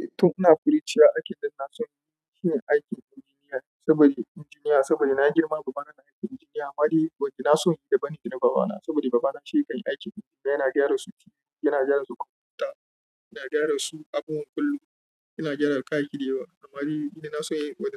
Eh tun ina kuriciya, aikin da na so yin shi shine aikin injiniya saboda injiniya, saboda na girma babana yake aikin injiniya. Amma dai wanda na so yi da bani da na babana saboda babana shi yake yin aikin, yana gyara su titi, yana gyara su kumfuta, yana gyara su abun kullum, yana gyara kayayyaki da yawa. Amma dai wanda